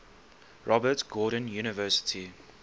robert gordon university